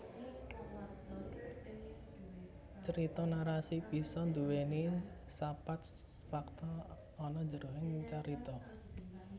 Crita narasi bisa nduweni sapat fakta ana jroning carita